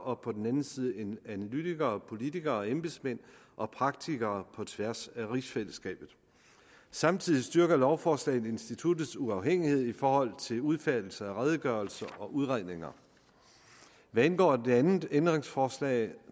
og på den anden side analytikere politikere og embedsmænd og praktikere på tværs af rigsfællesskabet samtidig styrker lovforslaget instituttets uafhængighed i forhold til udfærdigelse af redegørelser og udredninger hvad angår det andet ændringsforslag